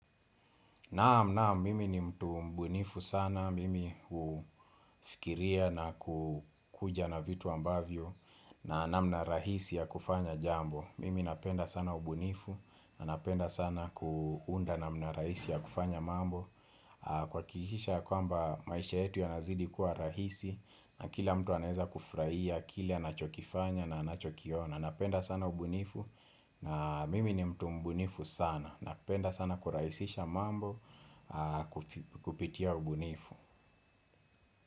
Naam naam mimi ni mtu mbunifu sana mimi hufikiria na kukuja na vitu ambavyo na namna rahisi ya kufanya jambo Mimi napenda sana ubunifu na napenda sana kuunda namna rahisi ya kufanya mambo kuhakikisha kwamba maisha yetu yanazidi kuwa rahisi na kila mtu anweza kufurahia, kile anachokifanya na anachokiona na napenda sana ubunifu na mimi ni mtu mbunifu sana Napenda sana kurahisisha mambo Kupitia ubunifu.